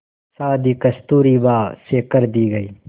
शादी कस्तूरबा से कर दी गई